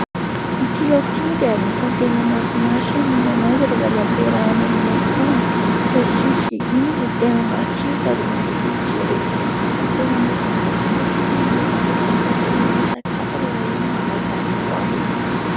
Ity laoka ity moa dia anisany tena mahafinaritra ny mihinana azy rehefa ampiarahana amin'ny akoho, saosisy... Iny izy no tena matsiro sady mafilotra erỳ ! Ary tena mahafinaritra satria manome tsiro hafakely an'ilay sakafo rehefa izy no hafangaronao aminy.